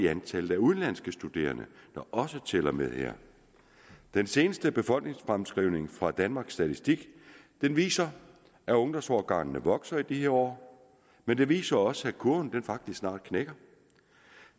antal udenlandske studerende der også tæller med her den seneste befolkningsfremskrivning fra danmarks statistik viser at ungdomsårgangene vokser i de her år men den viser også at kurven faktisk snart knækker